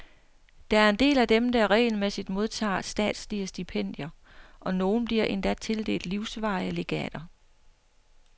Der er en del af dem, der regelmæssigt modtager statslige stipendier, og nogle bliver endda tildelt livsvarige legater.